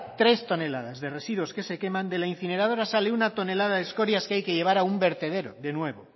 tres toneladas de residuos que se queman de la incineradora sale una tonelada de escorias que hay que llevar a un vertedero de nuevo